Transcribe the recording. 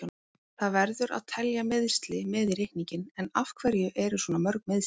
Það verður að telja meiðsli með í reikninginn, en af hverju eru svona mörg meiðsli?